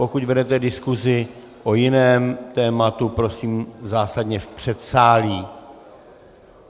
Pokud vedete diskusi o jiném tématu, prosím, zásadně v předsálí.